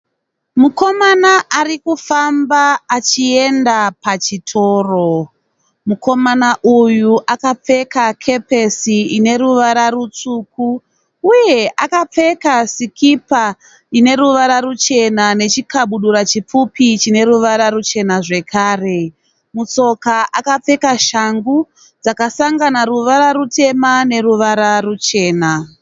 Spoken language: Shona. Mukoma ari kufamba achienda pachitoro. Mukoma uyu akapfeka kepesi ine ruvara rutsvuku. Uye akapfeka sikipa ine ruvara ruchena nechikabudura chipfupi chine ruvara ruchena zvekare. Mutsoka akapfeka shangu dzakasangana ruvara rutema neruvara ruchena.